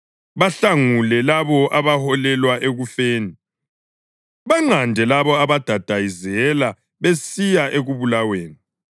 Bahlangule labo abaholelwa ekufeni; banqande labo abadayizela besiya ekubulaweni.